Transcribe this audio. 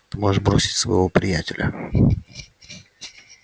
ты можешь бросить своего приятеля